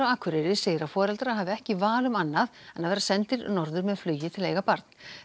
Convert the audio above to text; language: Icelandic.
á Akureyri segir að foreldrar hafi ekki neitt val um annað en að vera sendir norður með flugi til að eiga barn